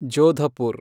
Jodhpur